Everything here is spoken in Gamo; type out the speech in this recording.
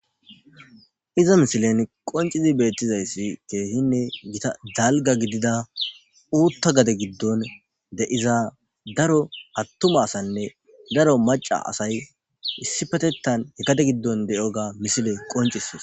iza misilen qoncizi beettizayssi keehinne gita dalga gidida uutta gade giddon deiza daro attuma asanne daro maca asay issipetettan e kade giddon deyo ga misile qoncisis